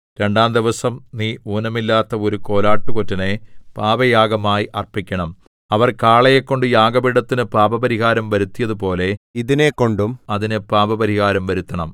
രണ്ടാംദിവസം നീ ഊനമില്ലാത്ത ഒരു കോലാട്ടുകൊറ്റനെ പാപയാഗമായി അർപ്പിക്കണം അവർ കാളയെക്കൊണ്ട് യാഗപീഠത്തിനു പാപപരിഹാരം വരുത്തിയതുപോലെ ഇതിനെക്കൊണ്ടും അതിന് പാപപരിഹാരം വരുത്തണം